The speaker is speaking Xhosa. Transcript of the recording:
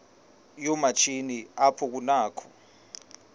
yoomatshini apho kunakho